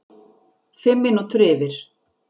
Fimm mínútur yfir